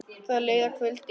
Það leið að kvöldi.